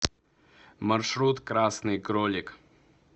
маршрут красный кролик